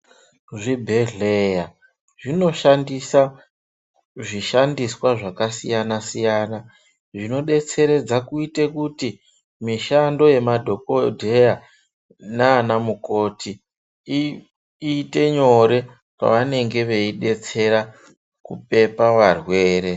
Zvibhedhleya zvinoshandisa zvishandiswa zvakasiyana-siyana, zvinodetseredza kuite kuti mishando yemadhokodheya naanamukoti ,iiite nyore pevanonga veidetsera kupepa varwere.